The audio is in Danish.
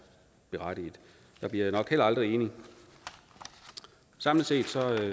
berettiget der bliver jeg nok heller aldrig enig samlet set